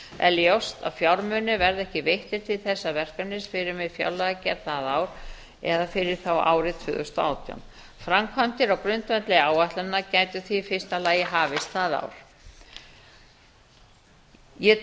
ljóst að fjármunir verða ekki veittir til þessa verkefnis fyrr en við fjárlagagerð það ár eða fyrir þá árið tvö þúsund og átján framkvæmdir á grundvelli áætlunar gætu því í fyrsta lagi hafist það ár ég